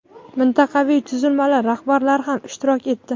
mintaqaviy tuzilmalar rahbarlari ham ishtirok etdi.